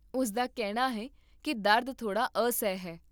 ਉਸ ਦਾ ਕਹਿਣਾ ਹੈ ਕੀ ਦਰਦ ਥੋੜਾ ਅਸਹਿ ਹੈ